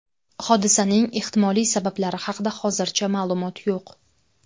Hodisaning ehtimoliy sabablari haqida hozircha ma’lumot yo‘q.